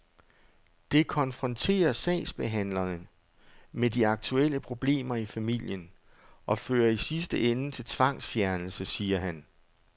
Det konfronterer sagsbehandlerne med de aktuelle problemer i familien og fører i sidste ende til tvangsfjernelse, siger han.